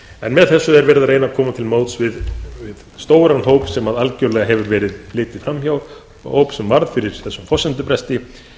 en með þessu er verið að reyna að koma til móts við stóran hóp sem algjörlega hefur verið litið fram hjá hóp sem varð fyrir þessum forsendubresti